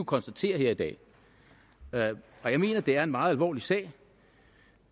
konstatere her i dag og jeg mener det er en meget alvorlig sag